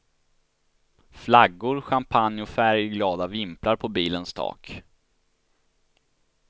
Flaggor, champagne och färgglada vimplar på bilens tak.